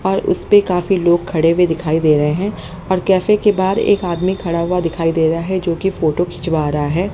और उसपे काफी लोग खड़े हुए दिखाई दे रहे हैं और कैफे के बाहर एक आदमी खड़ा हुआ दिखाई दे रहा है जो की फोटो खिंचवा रहा है।